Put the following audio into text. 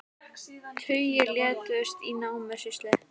Tugir létust í námuslysi